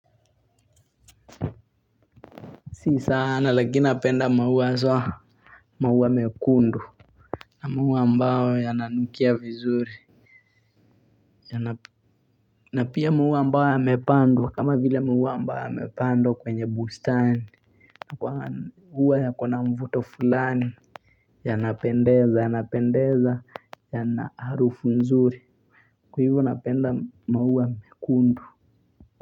Si sana lakini napenda maua so. Maua mekundu. Na maua ambao yananukia vizuri. Na pia maua ambao yamepandwa kama vile maua ambao yamepandwa kwenye bustani. Na kwa maua yakona mvuto fulani. Ya napendeza, ya napendeza, yana harufu nzuri. Kwa hivo napenda maua mekundu.